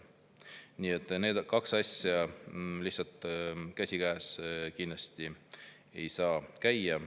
Nii et need kaks asja käsikäes ei saa käia.